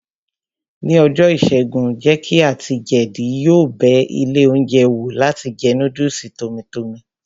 Ní ọjọ́ ìṣẹ́gun, jéèkì àti jeedi yóò bẹ ilé oúnjẹ wò láti jẹ núdùsì tọ́mí tọmì